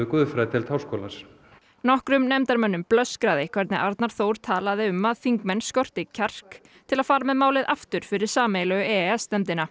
guðfræðideild háskólans nokkrum nefndarmönnum blöskraði hvernig Arnar Þór talaði um að þingmenn skorti kjark til að fara með málið aftur fyrir sameiginlegu e e s nefndina